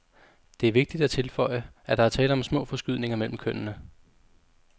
Det er vigtigt at tilføje, at der er tale om små forskydninger mellem kønnene.